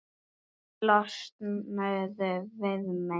Losnuðu við mig!